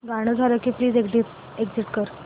गाणं झालं की प्लीज एग्झिट कर